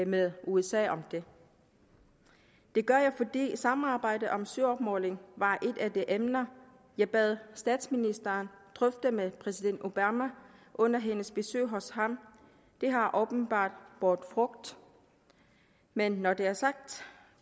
med usa om det det gør jeg fordi samarbejdet om søopmåling var et af de emner jeg bad statsministeren drøfte med præsident obama under hendes besøg hos ham det har åbenbart båret frugt men når det er sagt